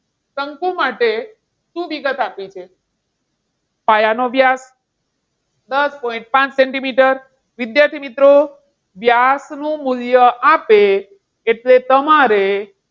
શંકુ માટે શું વિગત આપી છે? પાયાનો વ્યાસ દસ પોઇન્ટ પાંચ સેન્ટીમીટર. વિદ્યાર્થી મિત્રો, વ્યાસનું મૂલ્ય આપે એટલે તમારે,